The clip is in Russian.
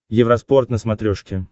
евроспорт на смотрешке